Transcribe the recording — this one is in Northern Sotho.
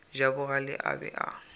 ja bogale a be a